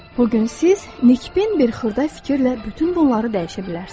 Bu gün siz ən kiçik bir xırda fikirlə bütün bunları dəyişə bilərsiz.